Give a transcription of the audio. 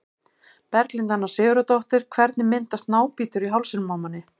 Berglind Anna Sigurðardóttir Hvernig myndast nábítur í hálsinum á manni?